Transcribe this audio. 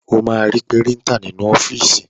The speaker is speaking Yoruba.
O máa ri Píríńtà nínú ọ́fíìsì.